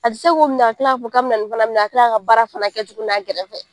A ti se k'o minɛ ka kila k'a fɔ k'a bi na nin fana minɛ ka kila ka baara fana kɛ tugunu a gɛrɛfɛ.